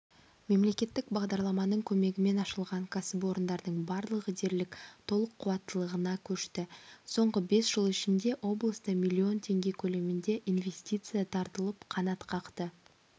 мемлекеттік бағдарламаның көмегімен ашылған кәсіпорындардың барлығы дерлік толық қуаттылығына көшті соңғы бес жыл ішінде облыста миллион теңге көлемінде инвестиция тартылып қанатқақты